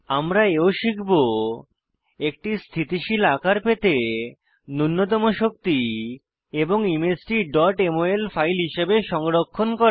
আমরা এও শিখব একটি স্থিতিশীল আকার পেতে নুন্যতম শক্তি এবং ইমেজটি mol ফাইল হিসাবে সংরক্ষণ করা